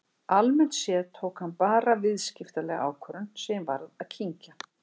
Almennt séð tók hann bara viðskiptalega ákvörðun sem ég varð að kyngja.